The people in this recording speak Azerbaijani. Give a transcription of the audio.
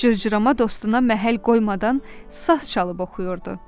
Cırcırama dostuna məhəl qoymadan saz çalıb oxuyurdu.